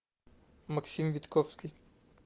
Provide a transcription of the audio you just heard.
максим витковский